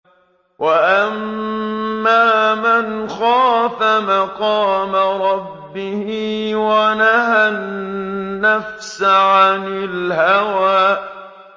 وَأَمَّا مَنْ خَافَ مَقَامَ رَبِّهِ وَنَهَى النَّفْسَ عَنِ الْهَوَىٰ